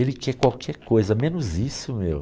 Ele quer qualquer coisa, menos isso, meu.